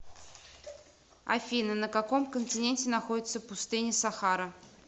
афина на каком континенте находится пустыня сахара